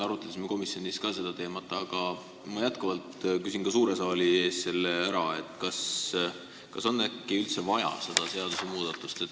Arutasime komisjonis natukene seda teemat, aga ma küsin ka suure saali ees, kas meil on üldse vaja seda seadusmuudatust.